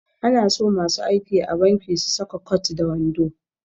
Ana so masu aiki a banki su saka kwat da wando